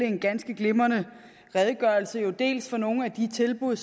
en ganske glimrende redegørelse dels om nogle af de tilbud